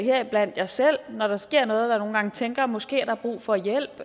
heriblandt mig selv som når der sker noget nogle gange tænker måske er der brug for hjælp